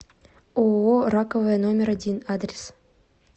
ооо раковая номер один адрес